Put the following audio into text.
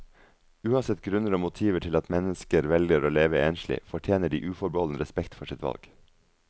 Uansett grunner og motiver til at mennesker velger å leve enslig, fortjener de uforbeholden respekt for sitt valg.